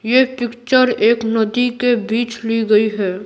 ये पिक्चर एक नदी के बीच ली गई हैं।